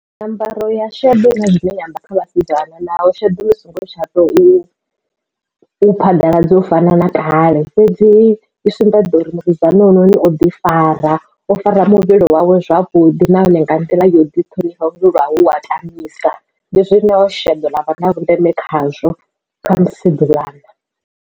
Nyambaro ya sheḓo huna zwine ya amba kha vhasidzana naho sheḓo ḽi songo tsha to u phaḓaladzwa u fana na kale fhedzi i sumbedza uri musidzana hoyunoni o ḓi fara o fara muvhili wawe zwavhuḓi nahone nga nḓila yo ḓi ṱhonifha vhathu lwa hu wa tamisa ndi zwine sheḓo ḽavha na vhundeme khazwo kha musidzana.